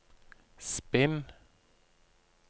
spinn